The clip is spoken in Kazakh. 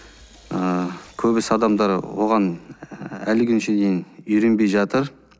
ыыы көбісі адамдар оған әлі күн дейін үйренбей жатыр